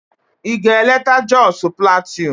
Ị ga-eleta Jos Plateau?